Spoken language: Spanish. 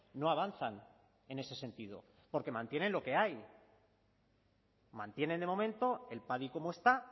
no avanzan en ese sentido porque mantienen lo que hay mantienen de momento el padi como está